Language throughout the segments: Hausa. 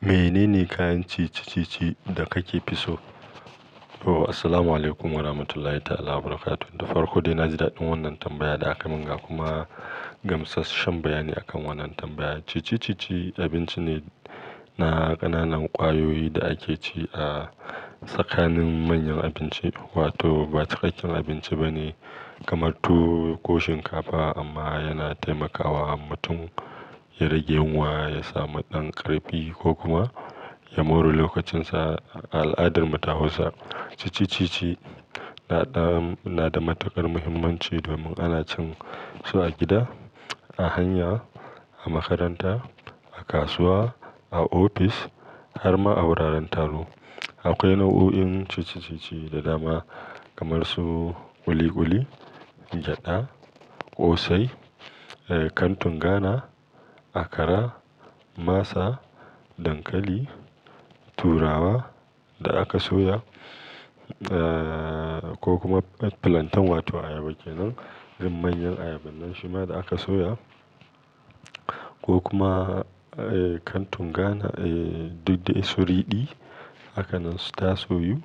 Menene kayan ci-cicici da kake fi so? Oh, assalamualaikum warahmatullahi ta'ala wabarakatuh. Da farko dai na ji daɗin wannan tambaya da aka min ga kuma gamshasshan bayani akan wannan tambaya. Ci-cicici abinci ne na ƙananan ƙwayoyi da ake ci a tsakanin manyan abinci, wato ba cikakken abinci ba ne kamar tuwo ko shinkafa amma yana taimakawa mutum ya rage yunwa, ya samu ɗan ƙarfi ko kuma ya more lokacinsa a al'adar mu ta Hausa. Ci-cicici na ɗa, na da matuƙar muhimmanci domin ana cin su a gida, a hanya, a makaranta, a kasuwa, a ofis har ma a wuraren taro. Akwai nau'o'in ci-cicici da dama kamar su ƙuli-ƙuli, gyada, ƙosai, kantun Ghana, akara, masa, dankali, turawa da aka soya, eh ko kuma plantain wato ayaba kenan irin manyan ayaba nan shima da aka soya ko kuma kantun Ghana, duk da su riɗi haka nan su tasoyu,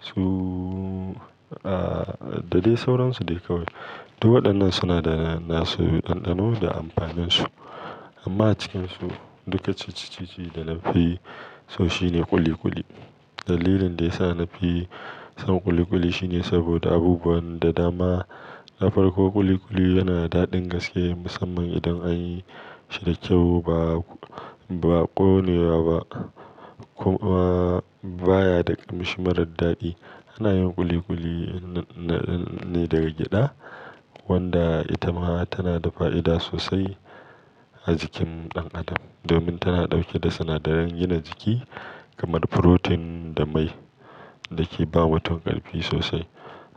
su a da dai sauransu dai kawai. Duk waɗannan suna da na su ɗanɗano da amfaninsu. Amma a cikinsu, duka ci-cicici da na fi so shine ƙuli-ƙuli. Dalilin da ya sa na fi son ƙuli-ƙuli shine saboda abubuwan da dama. Na farko ƙuli-ƙuli yana da daɗin gaske musamman idan an yi shi da kyau ba, ba ƙone wa ba kuma baya da ƙamshi marar daɗi. Ana yin ƙuli-ƙuli ne daga gyada wanda ita ma tana da fa'ida sosai a jikin ɗan adam domin tana ɗauke da sinadaran gina jiki kamar furotin da mai da ke ba mutun ƙarfi sosai.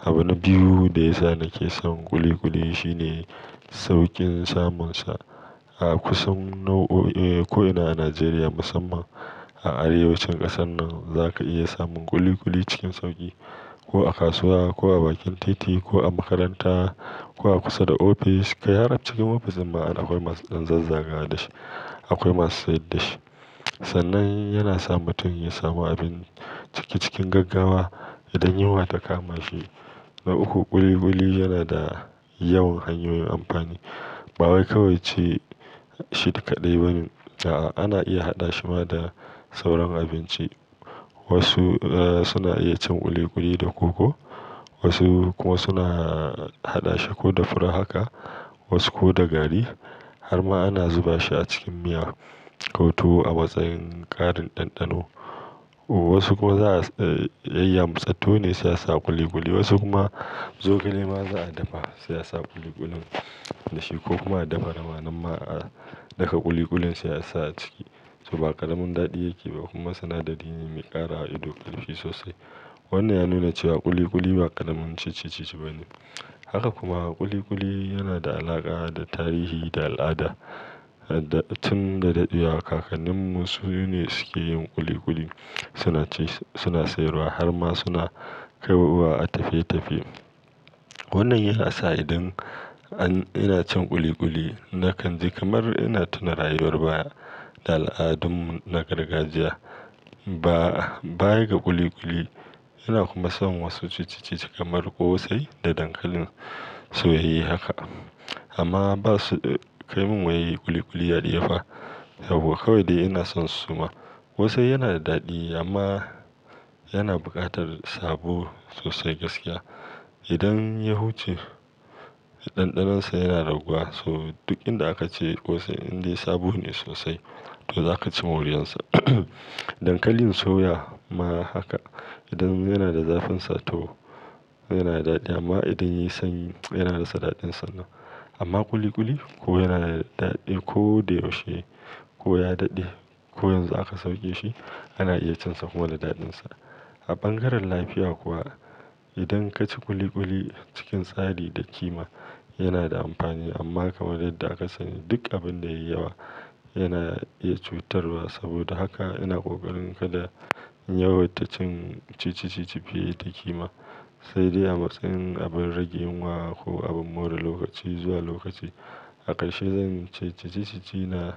Abu na biyu da ya sa nake son ƙuli-ƙuli shine sauƙin samunsa a kusan nau'o'i ko ina a Najeriya musamman a arewacin ƙasar nan za ka iya samun ƙuli-ƙuli cikin sauƙi ko a kasuwa ko a bakin titi ko a makaranta ko a kusa da ofis. Kai har cikin ofis dinma akwai masu ɗan zazzagawa da shi, akwai masu sayar da shi. Sannan yana sa mutum ya samu abinci cikin gaggawa idan yunwa ta kama shi. Na uku ƙuli-ƙuli yana da yawan hanyoyin amfani. Ba wai kawai ci shi kadai ba ne. A'a ana iya haɗa shi ma da sauran abinci. Wasu suna iya cin ƙuli-ƙuli da koko, wasu kuma suna haɗa shi ko da fura haka wasu ko da gari har ma ana zuba shi a cikin miya ko to a matsayin ƙarin ɗanɗano. Wasu kuwa za'a yayyamutsasu ne sai a sa ƙuli-ƙuli wasu kuma zogale ma za a dafa sai a sa ƙuli-ƙulin da shi ko kuma a dafa naman ma a ɗaka ƙuli-ƙulin sai a sa a ciki. So ba ƙaramin daɗi yake ba kuma sinadari ne mai ƙarawa ido ƙarfi sosai. Wannan ya nuna cewa ƙuli-ƙuli ba ƙaramin ci-cicici ba ne. Haka kuma ƙuli-ƙuli yana da alaƙa da tarihi da al'ada. Tin da daɗewa kakanninmu su ne suke yin ƙuli-ƙuli suna ci suna sayarwa har ma suna kai wa a tafiye-tafiye. Wannan yana sa idan an ina cin ƙuli-ƙuli na kan ji kamar ina tuna rayuwar baya da al'adunmu na gargajiya baya ga ƙuli-ƙuli. Ina kuma son wasu ci-cicici kamar ƙosai da dankalin soye haka amma ba su kai min yadda ƙuli-ƙuli yake ba saboda kawai dai ina son su suma. Ƙosai yana da daɗi amma yana buƙatar sabo sosai gaskiya. Idan ya huce ɗanɗanonsa yana raguwa so duk inda aka ci ƙosai indai sabo ne sosai to za ka ci moriyansa. Dankalin suya ma haka idan yana da zafin sa to yana da daɗi amma idan ya sanyi yana rasa daɗinsa nan. Amma ƙuli-ƙuli ko yana da daɗi ko da yaushe ko ya daɗe ko yanzu aka sauke shi ana iya cin sa ko yana daɗinsa. A bangaren lafiya kuwa idan ka ci ƙuli-ƙuli cikin tsari da kima yana da amfani amma kamar yadda aka sani duk abin da yayi yawa yana iya cutarwa. Saboda haka ina ƙoƙarin kada yawai ta cin ci-cicici fiye da kima sai dai a matsayin abin rage yunwa ko abin more lokaci zuwa lokaci. Akarshe zan ci ci-cicici na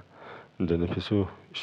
da na fi so shi.